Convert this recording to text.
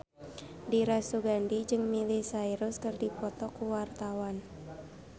Dira Sugandi jeung Miley Cyrus keur dipoto ku wartawan